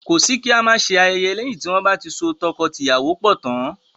Kọ́ sí kí á má ṣe ayẹyẹ lẹ́yin tí wọ́n bá ti so tọkọtìyàwó pọ̀ tán.